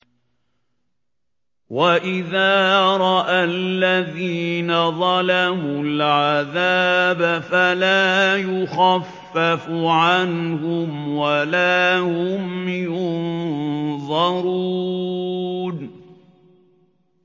وَإِذَا رَأَى الَّذِينَ ظَلَمُوا الْعَذَابَ فَلَا يُخَفَّفُ عَنْهُمْ وَلَا هُمْ يُنظَرُونَ